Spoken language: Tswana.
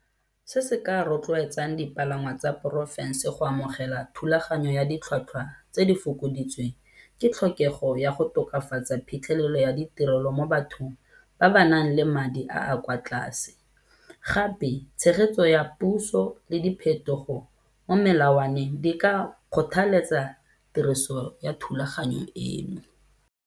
Se se ka rotloetsang dipalangwa tsa porofense go amogela thulaganyo ya ditlhwatlhwa tse di fokoditsweng, ke tlhokego ya go tokafatsa phitlhelelo ya ditirelo mo bathong ba ba nang le madi a a kwa tlase. Gape tshegetso ya puso le diphetogo mo melawaneng di ka kgothaletsa tiriso ya thulaganyo eno.